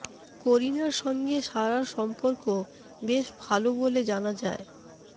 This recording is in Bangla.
করিনার সঙ্গে সারার সম্পর্ক বেশ ভাল বলে জানা যায়